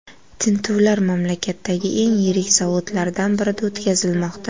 Tintuvlar mamlakatdagi eng yirik zavodlardan birida o‘tkazilmoqda.